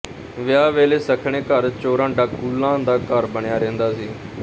ਵਿਆਹ ਵੇਲੇ ਸੱਖਣੇ ਘਰ ਚੋਰਾਂ ਡਾਕੂਲਾਂ ਦਾ ਡਰ ਬਣਿਆ ਰਹਿੰਦਾ ਸੀ